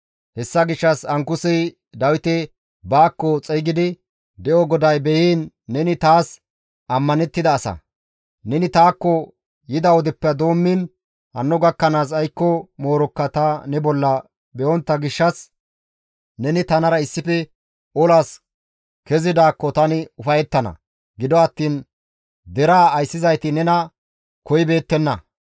Hessa gishshas Ankusey Dawite baakko xeygidi, «De7o GODAY be7iin neni taas ammanettida asa; neni taakko yida wodeppe doommiin hanno gakkanaas aykko moorokka ta ne bolla be7ontta gishshas neni tanara issife olaas kezidaakko tani ufayettana; gido attiin deraa ayssizayti nena koyibeettenna.